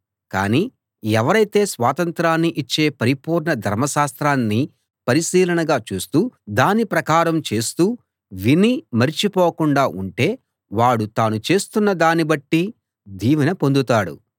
కానీ ఎవరైతే స్వాతంత్రాన్ని ఇచ్చే పరిపూర్ణ ధర్మశాస్త్రాన్ని పరిశీలనగా చూస్తూ దాని ప్రకారం చేస్తూ విని మరిచి పోకుండా ఉంటే వాడు తాను చేస్తున్న దాన్ని బట్టి దీవెన పొందుతాడు